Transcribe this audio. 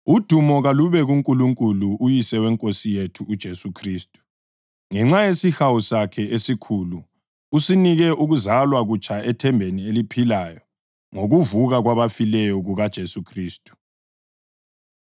Udumo kalube kuNkulunkulu uYise weNkosi yethu uJesu Khristu! Ngenxa yesihawu sakhe esikhulu usinike ukuzalwa kutsha ethembeni eliphilayo ngokuvuka kwabafileyo kukaJesu Khristu,